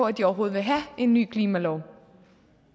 at de overhovedet vil have en ny klimalov